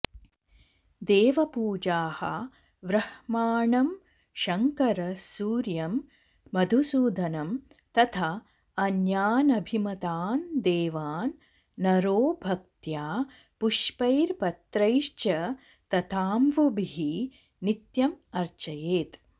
देवपूजाः व्रह्माणं शंकर सूर्यं मधुसूदनं तथा अन्यानभिमतान् देवान् नरो भक्त्या पुष्पैर्पत्रैश्च तथाम्वुभिः नित्यमर्चयेत्